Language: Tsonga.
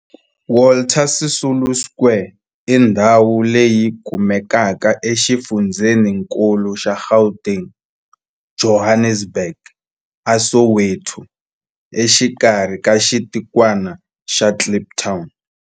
Walter Sisulu Square i ndhawu leyi kumekaka exifundzheninkulu xa Gauteng, Johannesburg, a Soweto, exikarhi ka xitikwana xa Kliptown.